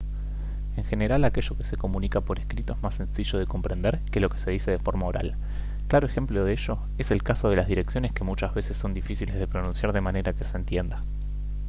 en general aquello que se comunica por escrito es más sencillo de comprender que lo que se dice de forma oral claro ejemplo de ello es el caso de las direcciones que muchas veces son difíciles de pronunciar de manera que se entienda